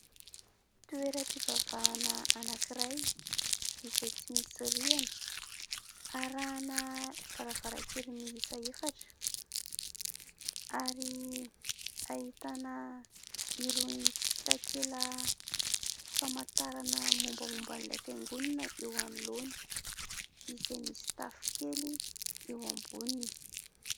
Toeram-pivavahana anankiray izay tsy misy rihana, arahana varavarankely miisa efatra ary ahitana irony takelam-pamantarana mombamomba an'ilay fiangonana eo anoloana izay misy tafo kely eo amboniny.